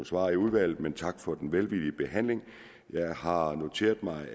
svar i udvalget men tak for den velvillige behandling jeg har noteret mig at